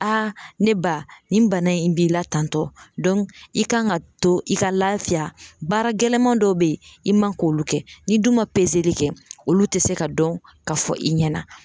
A ne ba nin bana in b'i la tan tɔ i kan ka to i ka lafiya baara gɛlɛman dɔ be yen i man k'olu kɛ ni dun ma kɛ olu te se ka dɔn ka fɔ i ɲɛna